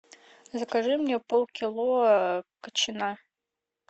закажи мне полкило кочана